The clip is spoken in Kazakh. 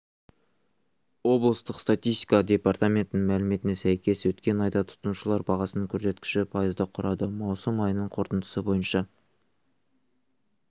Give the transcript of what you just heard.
облыстық статистика департаментінің мәліметіне сәйкес өткен айда тұтынушылар бағасының көрсеткіші пайызды құрады маусым айының қорытындысы бойынша